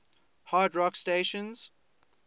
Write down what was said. hard rock stations